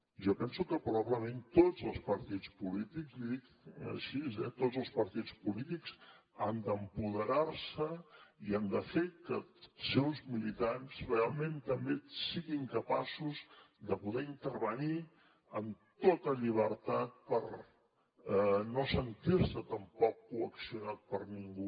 jo penso que probablement tots els partits polítics l’hi dic així eh tots els partits polítics han d’empoderar se i han de fer que els seus militants realment també siguin capaços de poder intervenir amb tota llibertat per no sentir se tampoc coaccionats per ningú